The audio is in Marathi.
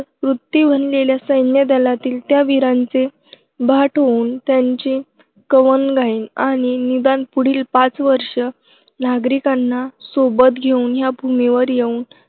वृत्ती बनलेल्या सैन्यदलातील त्या वीरांचे भाट होऊन त्यांची कवनं गाईन आणि निदान पुढील पाच वर्षं नागरिकांना सोबत घेऊन ह्या भूमीवर येऊन